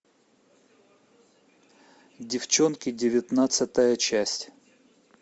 деффчонки девятнадцатая часть